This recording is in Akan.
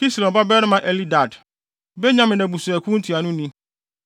Kislon babarima Elidad, Benyamin abusuakuw ntuanoni;